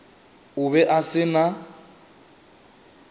o be a se na